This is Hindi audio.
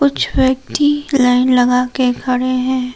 कुछ व्यक्ति लाइन लगाके खड़े हैं।